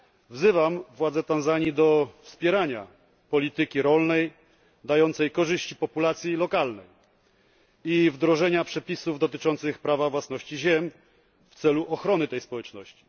Wzywam władze Tanzanii do wspierania polityki rolnej dającej korzyści populacji lokalnej i wdrożenia przepisów dotyczących prawa własności ziem w celu ochrony tej społeczności.